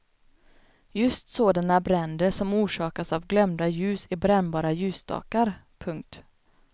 Just sådana bränder som orsakas av glömda ljus i brännbara ljusstakar. punkt